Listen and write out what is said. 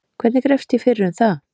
Hvernig grefst ég fyrir um það?